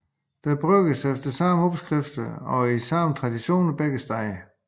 Der brygges efter samme opskrifter og i den samme tradition begge steder